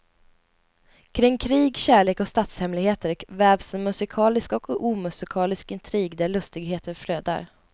Kring krig, kärlek och statshemligheter vävs en musikalisk och omusikalisk intrig där lustigheter flödar.